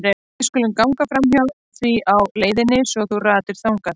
Við skulum ganga framhjá því á leiðinni svo þú ratir þangað.